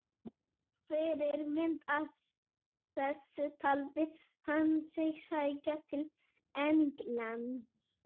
Fyrirmynd að þessu taldi hann sig sækja til Englands.